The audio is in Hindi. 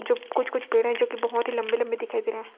जो कुछ कुछ पेड़ है जो की बहोत ही लंबी लंबी दिखाई दे रहा है।